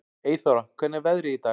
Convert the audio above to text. Eyþóra, hvernig er veðrið í dag?